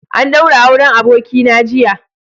An ɗaura auren Abokina jiya.